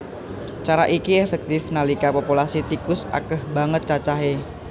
Cara iki éféktif nalika populasi tikus akéh banget cacahé